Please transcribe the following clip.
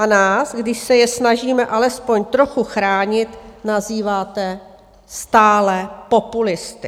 A nás, když se je snažíme alespoň trochu chránit, nazýváte stále populisty.